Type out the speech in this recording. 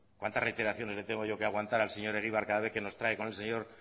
cuántas reiteraciones le tengo yo que aguantar al señor egibar cada vez que nos trae con el señor